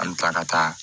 An bɛ taa ka taa